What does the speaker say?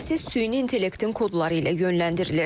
Proses süni intellektin kodları ilə yönləndirilir.